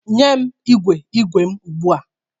Nye m igwe igwe m ugbu a!